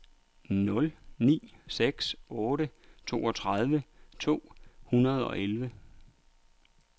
nul ni seks otte toogtredive to hundrede og elleve